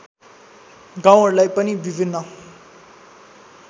गाउँहरूलाई पनि विभिन्न